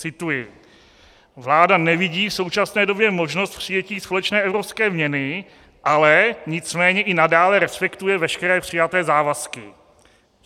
Cituji: "Vláda nevidí v současné době možnost přijetí společné evropské měny, ale nicméně i nadále respektuje veškeré přijaté závazky."